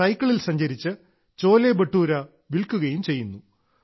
സൈക്കിളിൽ സഞ്ചരിച്ച് ചോലെബട്ടൂര വിൽക്കുകയും ചെയ്യുന്നു